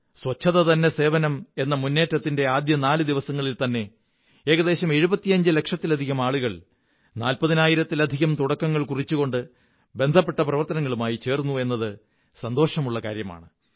ശുചിത്വം തന്നെ സേവനം എന്ന മുന്നേറ്റത്തിന്റെ ആദ്യത്തെ നാലു ദിവസങ്ങളില്ത്ത ന്നെ ഏകദേശം 75 ലക്ഷത്തിലധികം ആളുകൾ നാല്പതിനായിരത്തിലധികം തുടക്കങ്ങൾ കുറിച്ചുകൊണ്ട് ബന്ധപ്പെട്ട പ്രവര്ത്തയനങ്ങളുമായി ചേർന്നു എന്നത് സന്തോഷമുള്ള കാര്യമാണ്